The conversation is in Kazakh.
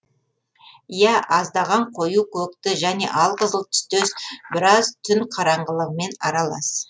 ия аздаған қою көкті және алқызыл түстес біраз түн қараңғылығымен аралас